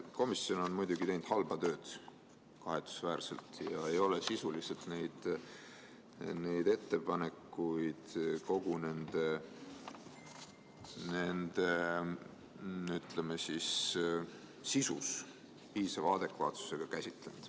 Komisjon on muidugi teinud kahetsusväärselt halba tööd ja ei ole sisuliselt neid ettepanekuid piisava adekvaatsusega käsitlenud.